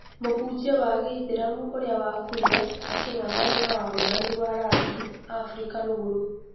Mũhunjia wa gĩithĩramu ũria wakuire aking'ang'ana na wamũrani wa rangi Afirika Rũgũrũ.